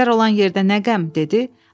Əjdər olan yerdə nə qəm?” dedi.